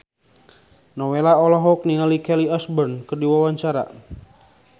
Nowela olohok ningali Kelly Osbourne keur diwawancara